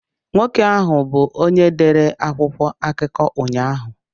Nwoke ahụ bụ onye dere akwụkwọ akụkọ ụnyahụ.